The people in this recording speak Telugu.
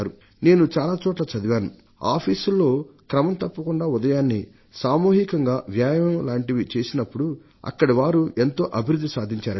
నేను చాలా చోట్ల చదివాను కార్యాలయాలలో క్రమం తప్పకుండా ఉదయాన్నే సామూహికంగా వ్యాయామం లాంటివి చేసినప్పుడు అక్కడివారు ఎంతో అభివృద్ధిని సాధించారట